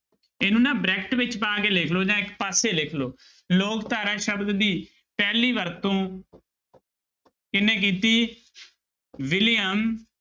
ਇਹਨੂੰ ਨਾ ਬਰੈਕਟ ਵਿੱਚ ਪਾ ਕੇ ਲਿਖ ਲਓ ਜਾਂ ਇੱਕ ਪਾਸੇ ਲਿਖ ਲਓ, ਲੋਕ ਧਾਰਾ ਸ਼ਬਦ ਦੀ ਪਹਿਲੀ ਵਰਤੋਂ ਕਿਹਨੇ ਕੀਤੀ ਵਿਲੀਅਮ